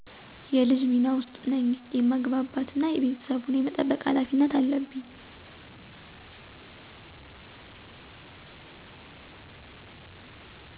የልጅ ሚና ውስጥ ነኚ የማግባባት እና ቤተሰቡን የመጠበቅ ሀላፊነት አለብኚ